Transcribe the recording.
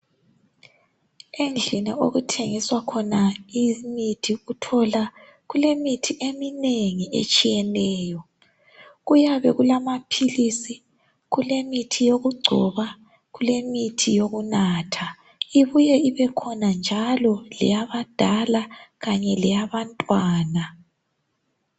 Endlini okuthengiswa khona imithi uthola imithi eminengi etshiyeneyo. Kuyabe kulamaphilisi, kulemithi yokugcoba ,kulemithi yokunatha, ibuye ibekhona njalo eyabadala kanye leyabantwana.